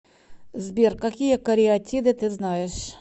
сбер какие кариатиды ты знаешь